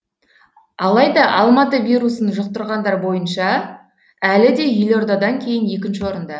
алайда алматы вирусын жұқтырғандар бойынша әлі де елордадан кейін екінші орында